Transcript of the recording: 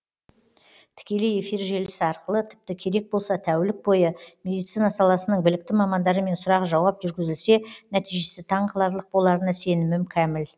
тікелей эфир желісі арқылы тіпті керек болса тәулік бойы медицина саласының білікті мамандарымен сұрақ жауап жүргізілсе нәтижесі таң қаларлық боларына сенімім кәміл